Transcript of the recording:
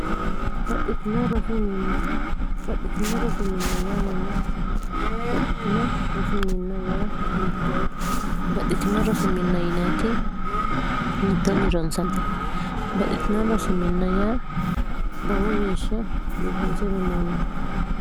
xbaxxitino rosiminn y mayyaati baxxitino rosiminn y yittoote baxxitino rosiminna yinti yittoonni ronsaanmite baxxitino rosiminna yaa lowo geeshsha biisinse minoonite